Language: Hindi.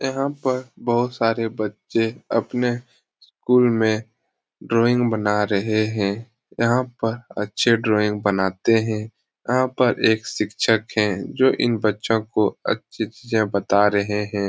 यहाँ पर बहुत सारे बच्चे अपने स्कूल में ड्रॉइंग बना रहे हैं यहाँ पर अच्छे ड्रॉइंग बनाते हैं यहाँ पर एक शिक्षक है जो इन बच्चो को अच्छी चीजें बता रहे हैं ।